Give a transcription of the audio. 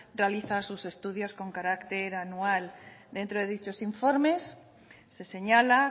realiza sus estudios con carácter anual dentro de dichos informes se señala